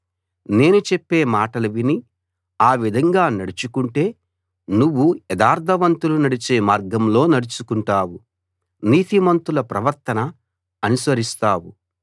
నేను చెప్పే మాటలు విని ఆ విధంగా నడుచుకుంటే నువ్వు యథార్థవంతులు నడిచే మార్గంలో నడుచుకుంటావు నీతిమంతుల ప్రవర్తన అనుసరిస్తావు